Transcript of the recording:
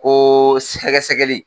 Ko